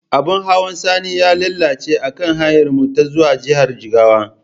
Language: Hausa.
Abin hawan Sani ya lalace akan hanyarmu ta zuwa jihar jigawa.